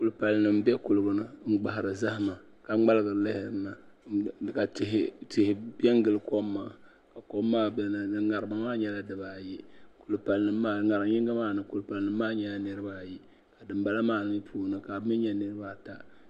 Kulipali nim n bɛ kuligi ni n gbahari zahama ka ŋmaligiri lihirina ka tihi piɛ n gili nimaani ŋarima maa nyɛla dibaayi ŋarim yinga maa puuni kulipali nim maa nyɛla niraba ayi dinbala maa mii puuni ka bi mii nyɛ niraba ata